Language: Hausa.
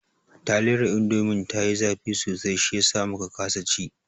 Taliyar indomin ta yi zafi sosai shiyasa muka kasa ci